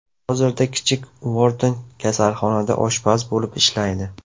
Hozirda kichik Uorton kasalxonada oshpaz bo‘lib ishlaydi.